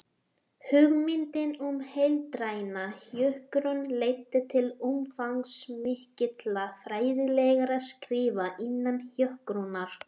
Hugmyndin um heildræna hjúkrun leiddi til umfangsmikilla fræðilegra skrifa innan hjúkrunar.